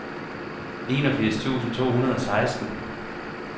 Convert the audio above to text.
enogfirs tusind to hundrede og seksten